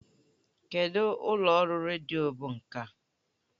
Kedụ ụlọ ọrụ redio bụ nke a?